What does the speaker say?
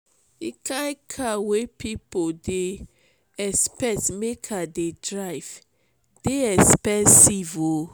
di kain car wey pipo dey expect make i dey drive dey expensive o.